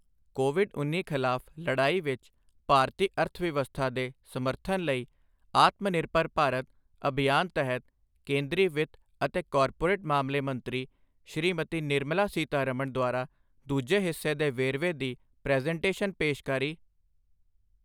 Covid ਉੱਨੀ ਖ਼ਿਲਾਫ਼ ਲੜਾਈ ਵਿੱਚ ਭਾਰਤੀ ਅਰਥਵਿਵਸਥਾ ਦੇ ਸਮਰਥਨ ਲਈ ਆਤਮਨਿਰਭਰ ਭਾਰਤ ਅਭਿਯਾਨ ਤਹਿਤ ਕੇਂਦਰੀ ਵਿੱਤ ਅਤੇ ਕਾਰਪੋਰੇਟ ਮਾਮਲੇ ਮੰਤਰੀ, ਸ਼੍ਰੀਮਤੀ ਨਿਰਮਲਾ ਸੀਤਾਰਮਣ ਦੁਆਰਾ ਦੂਜੇ ਹਿੱਸੇ ਦੇ ਵੇਰਵੇ ਦੀ ਪ੍ਰੈਜ਼ੈਂਟੇਸ਼ਨ ਪੇਸ਼ਕਾਰੀ